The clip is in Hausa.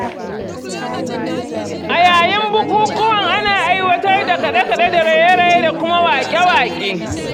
A yayin bukukuwan ana aiwatar da kaɗe-kaɗe da raye-raye da kuma waƙe-waƙe